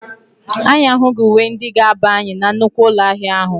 Anyị ahụghị uwe ndị ga-aba anyị na nnukwu ụlọ ahịa ahụ